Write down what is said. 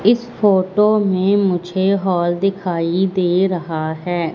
इस फोटो में मुझे हॉल दिखाई दे रहा हैं।